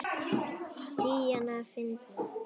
Díana fyndna.